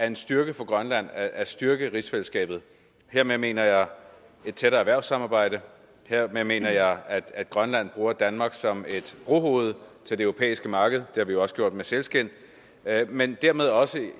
en styrke for grønland at styrke rigsfællesskabet hermed mener jeg et tættere erhvervssamarbejde hermed mener jeg at grønland bruger danmark som et brohoved til det europæiske marked det har vi jo også gjort med sælskind men dermed også